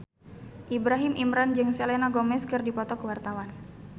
Ibrahim Imran jeung Selena Gomez keur dipoto ku wartawan